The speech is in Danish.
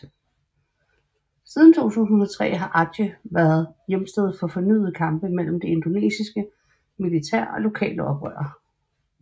Siden 2003 har Aceh været hjemsted for fornyede kampe mellem det indonesiske militær og lokale oprørere